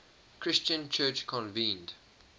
christian church convened